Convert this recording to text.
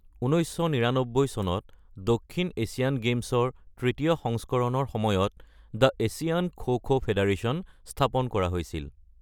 ১৯৯৯ চনত দক্ষিণ এছিয়ান গেমছৰ তৃতীয় সংস্কৰণৰ সময়ত the Asian kho kho federation স্থাপন কৰা হৈছিল৷